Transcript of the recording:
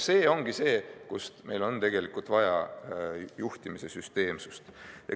See ongi see, et meil on tegelikult vaja juhtimise süsteemsust.